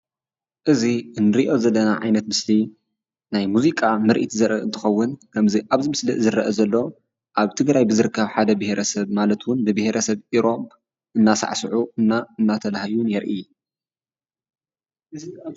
እዚ እንሪኦ ዘለና ዓይነት ምስሊ ናይ ሙዚቃ ምርኢት ዘርኢ እንትኮውን ከምዚ አብዚ ምስሊ ዝረእ ዘሎ አብ ትግራይ ብዝርከብ ሓደ ብሔረሰብ ማለት እውን ብብሄረሰብ ኢሮብ እናሳዕሱዑን እናተላህዩን የርኢ፡፡